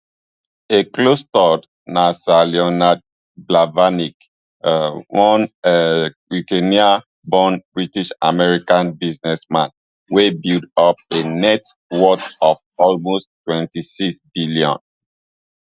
a close third na sir leonard blavatnik um one um ukrainian born britishamerican businessman wey build up a net worth of almost twenty-sixbn